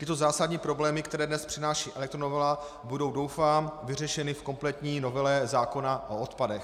Tyto zásadní problémy, které dnes přináší elektronovela, budou, doufám, vyřešeny v kompletní novele zákona o odpadech.